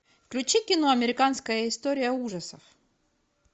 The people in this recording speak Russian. включи кино американская история ужасов